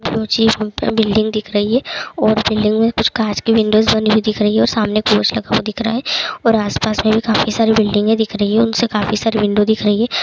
दो चीज बिल्डिंग दिख रही है और बिल्डिंग में कुछ कांच की विंडो बनी दिख रही है और सामने रखा हुआ दिख रहा है और आसपास में भी काफी सारी बिल्डिंग है दिख रही है उनसे काफी सारी विंडो दिख रही है।